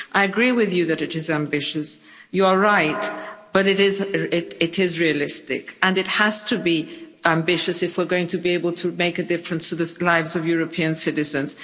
I agree with her that it is ambitious, she is right, but it is realistic and it has to be ambitious if we're going to be able to make a difference to the lives of European citizens.